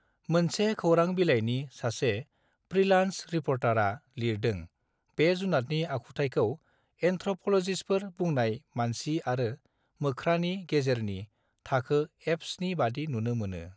मोनसे खोरां बिलायनि सासे प्रि लान्ज रिपर्टारआ लिरदों बे जुनातनि आखुथायखौ एन् थ्रपलजिसफोर बुंनाय मानसि आरो मोख्रानि गेजेरनि थाखो एफस नि बादि नुनो मोनो